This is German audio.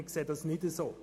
Wir sehen das nicht so.